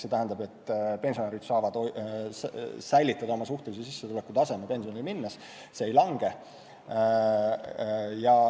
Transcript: See tähendab, et pensionärid saavad säilitada oma suhtelise sissetuleku taseme pensionile minnes, see ei lange.